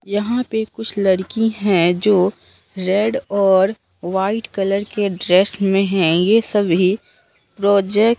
यहां पे कुछ लड़की है जो रेड और व्हाइट कलर के ड्रेस में है ये सभी प्रोजेक्ट --